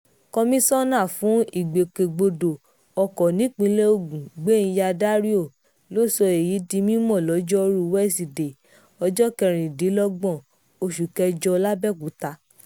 komisanna fún ìgbòkègbodò ọkọ̀ nípínlẹ̀ ogun gbéńyà dáríò ló sọ èyí di mímọ́ lojoruu wesidee ọjọ́ kẹrìndínlọ́gbọ̀n oṣù kẹjọ làbẹ́òkúta